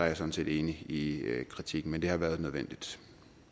jeg sådan set enig i kritikken men det har været nødvendigt